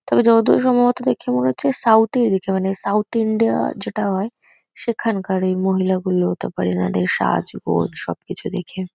তবে যতদূর সম্ভবত দেখে মনে হচ্ছে সাউথ -এর দিকে মানে সাউথ ইন্ডিয়া- যেটা হয় সেখানকার এই মহিলাগুলো হতে পারে এনাদের সাজগোছ সবকিছু দেখে।